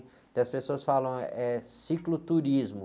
Então as pessoas falam, é cicloturismo.